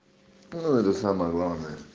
это самое главное